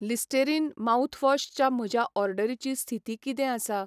Listerine mouthwash च्या म्हज्या ऑर्डरीची स्थिती किदें आसा?